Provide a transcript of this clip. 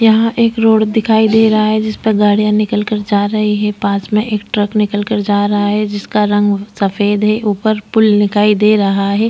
यहां एक रोड दिखाई दे रहा है जिस पर गाड़ियां निकल कर जा रही है पास में एक ट्रक निकाल कर जा रहा है जिसका रंग सफेद है ऊपर पुल दिखाई दे रहा है।